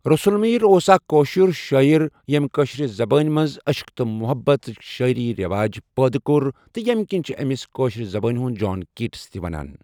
رَسول ميٖر اۄس اَکھہ کٲشُر شٲعر یم کٲشُر زَبانہِ مَنٛز عشق تہٕ محبت شٲعِری رواج پٲدٕ کور، یمہِ کِن چَھہ اَمِس کٲشرِ زَبانہِ ہُند جان کیٹس تہِ ونان۔